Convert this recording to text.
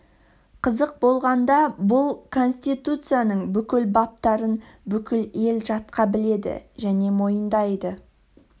қызық болғанда бұл конституцияның бүкіл баптарын бүкіл ел жатқа біледі және мойындайды